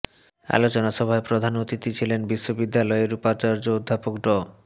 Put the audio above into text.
আলোচনা সভায় প্রধান অতিথি ছিলেন বিশ্ববিদ্যালযের উপাচার্য অধ্যাপক ড